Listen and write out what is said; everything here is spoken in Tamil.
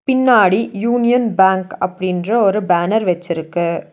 பின்னாடி யூனியன் பேங்க் அப்டின்ற ஒரு பேனர் வெச்சிருக்கு.